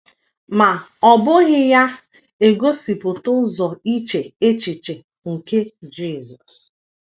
Ma ọ́ bụghị ya - egosipụta ụzọ iche echiche nke Jisọs.